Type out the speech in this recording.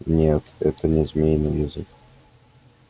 нет это не змеиный язык